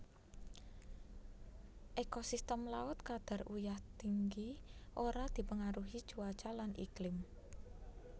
Ekosistem laut kadar uyah tinggi ora dipengaruhi cuaca lan iklim